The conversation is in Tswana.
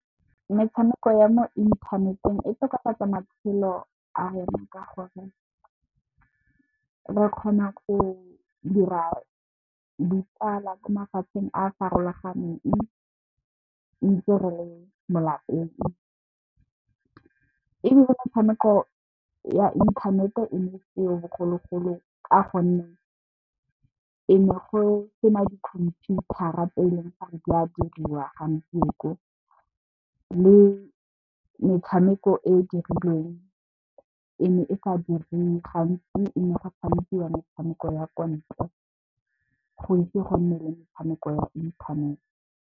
Metshameko ya mo inthaneteng e tokafatsa matshelo a rona ka gore re kgona go dira di tsala ko mafatsheng a farologaneng ntse re le mo lapeng ebile, metshameko ya inthanete e ne e seo bogologolo ka gonne, ne go sena dikhomphuthara tse leng gore di a diriwa gompieno le metshameko e e dirilweng e ne e sa diriwe gantsi, ne go tshamekiwa metshameko ya kwa ntle go ise go nne le metshameko ya inthanete.